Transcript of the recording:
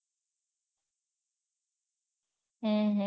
હમ હમ